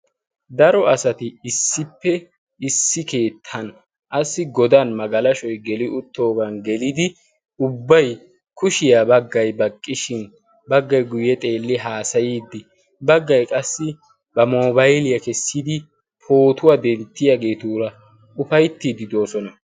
Daro asati issippe issi keettan assi godan magalashoy geli uttoogan gelidi ubbai kushiyaa baggai baqqishin baggai guyye xeelli haasayiiddi baggay qassi ba mobayliyaa kessidi pootuwaa denttiyaageetuura ufaittiiddi doosona.